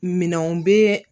Minɛnw bɛ